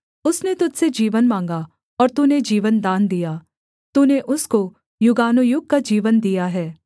उसने तुझ से जीवन माँगा और तूने जीवनदान दिया तूने उसको युगानुयुग का जीवन दिया है